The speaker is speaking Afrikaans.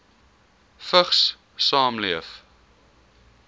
vigs saamleef